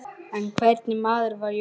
En hvernig maður var Jónas?